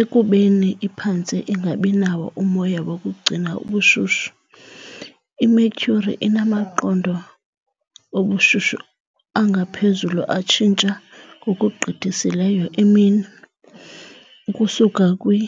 Ekubeni iphantse ingabinawo umoya wokugcina ubushushu, iMercury inamaqondo obushushu angaphezulu atshintsha ngokugqithisileyo emini, ukusuka kwi .